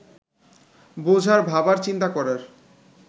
বোঝার, ভাবার, চিন্তা করার